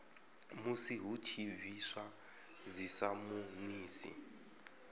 musi hu tshi bviswa dzisamonisi